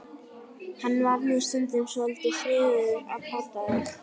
Hann var nú stundum svolítið sniðugur að plata mig.